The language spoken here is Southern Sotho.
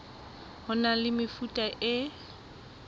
ho na le mefuta e